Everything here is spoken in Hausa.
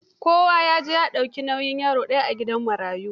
Kowa ya je ya dauki nauyin yaro ɗaya a gidan marayu.